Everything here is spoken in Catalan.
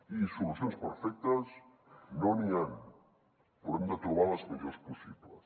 i solucions perfectes no n’hi han però hem de trobar les millors possibles